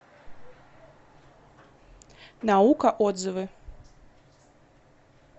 наука отзывы